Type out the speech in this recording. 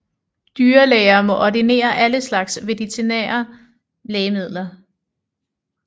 Dyrlæger må ordinere alle slags veterinære lægemidler